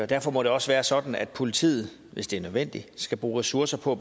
derfor må det også være sådan at politiet hvis det er nødvendigt skal bruge ressourcer på at